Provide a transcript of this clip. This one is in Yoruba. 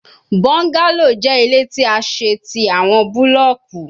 Bungalow jẹ ile ti a ṣe ti awọn bulọọki